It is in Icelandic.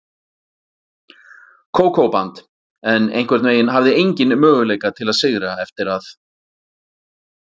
Kókó-band, en einhvern veginn hafði enginn möguleika til að sigra eftir að